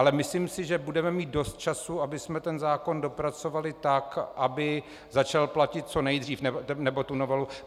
Ale myslím si, že budeme mít dost času, abychom ten zákon dopracovali tak, aby začal platit co nejdřív, nebo tu novelu.